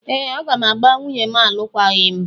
Ee! Aga m agbà nwunye m alụkwaghịm.